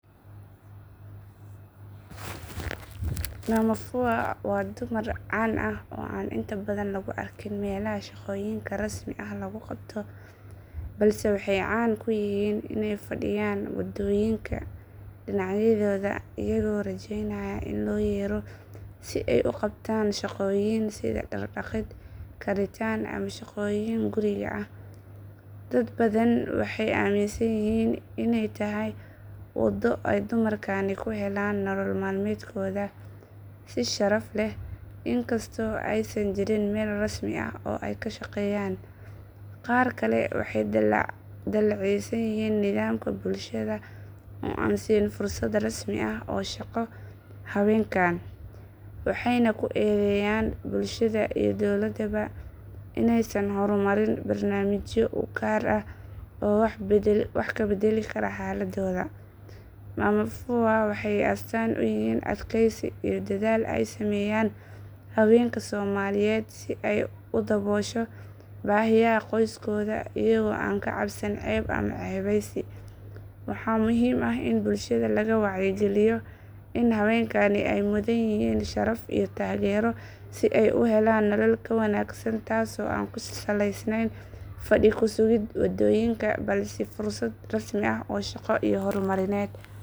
Mama fua waa dumar caan ah oo aan inta badan lagu arkin meelaha shaqooyinka rasmi ah lagu qabto balse waxay caan ku yihiin inay fadhiyaan waddooyinka dhinacyadooda iyagoo rajeynaya in loo yeero si ay u qabtaan shaqooyin sida dhaar dhaqid karinta ama shaqooyin guriga ah. Dad badan waxay aaminsan yihiin inay tahay waddo ay dumarkani ku helaan nolol maalmeedkooda si sharaf leh inkastoo aysan jirin meel rasmi ah oo ay ku shaqeeyaan. Qaar kale waxay dhaleeceeyaan nidaamka bulshada oo aan siin fursado rasmi ah oo shaqo haweenkan waxayna ku eedeeyaan bulshada iyo dowladdaba inaysan horumarin barnaamijyo u gaar ah oo wax ka bedeli kara xaaladooda. Mama fua waxay astaan u yihiin adkaysi iyo dadaal ay sameeyaan haweenka Soomaaliyeed si ay u daboosho baahiyaha qoyskooda iyagoo aan ka cabsan ceeb ama ceebeysi. Waxaa muhiim ah in bulshada laga wacyi geliyo in haweenkani ay mudan yihiin sharaf iyo taageero si ay u helaan nolol ka wanaagsan taasoo aan ku salaysnayn fadhi ku sugid waddooyinka balse fursado rasmi ah oo shaqo iyo horumarineed.